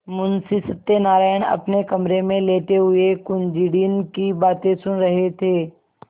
मुंशी सत्यनारायण अपने कमरे में लेटे हुए कुंजड़िन की बातें सुन रहे थे